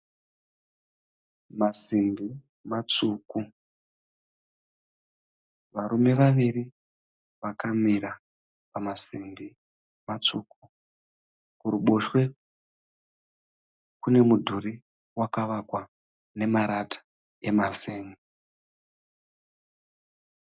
Masimbi matsvuku. Varume vaviri vakamira pamasimbi matsvuku. Kuruboshwe kune mudhuri wakavakwa nemarata emazen'e.